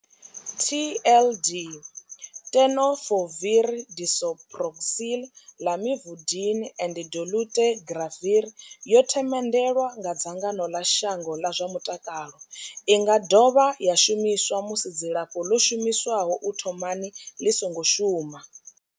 TLD Tenofovir disoproxil, Lamivudine and dolutegravir yo themendelwa nga dzangano ḽa shango ḽa zwa mutakalo. I nga dovha ya shumiswa musi dzilafho ḽo shumiswaho u thomani ḽi songo shuma.